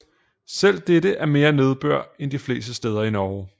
Selv dette er mere nedbør end de fleste steder i Norge